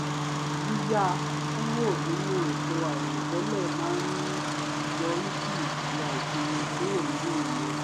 yíyà kúrò nínú ètò àìrò tẹ́lẹ̀ má ń yọrí sí ìtura ìsinmi kúrò nínù ìniira